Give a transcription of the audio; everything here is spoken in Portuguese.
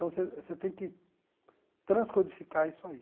Então você você tem que transcodificar isso aí.